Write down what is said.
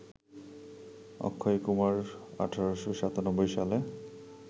অক্ষয়কুমার ১৮৯৭ সালে